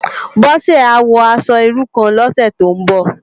Bose á wò aṣò irú kán lòsè tó n bò